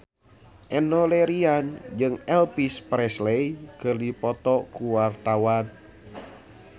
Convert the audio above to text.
Enno Lerian jeung Elvis Presley keur dipoto ku wartawan